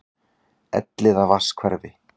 Elliðavatnshverfi